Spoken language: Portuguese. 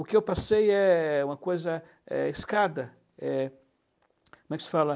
O que eu passei é uma coisa, eh, escada, eh, como é que se fala?